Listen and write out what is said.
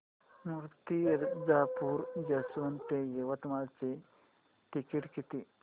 Murtijapur junction ते यवतमाळ चे ticket किती